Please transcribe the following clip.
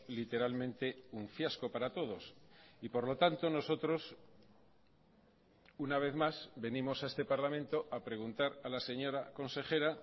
literalmente un fiasco para todos y por lo tanto nosotros una vez más venimos a este parlamento a preguntar a la señora consejera